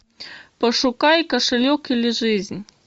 пошукай кошелек или жизнь